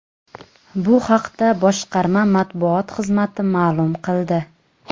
Bu haqda boshqarma matbuot xizmati ma’lum qildi .